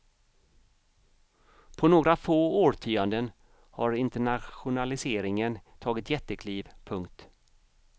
På några få årtionden har internationaliseringen tagit jättekliv. punkt